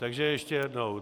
Takže ještě jednou.